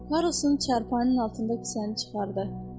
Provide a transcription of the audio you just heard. Karlson çarpayının altından kisəni çıxardı.